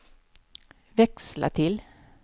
växla till